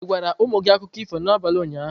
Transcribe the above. Ị gwara ụmụ gị akụkọ ifo n'abalị ụnyaahụ?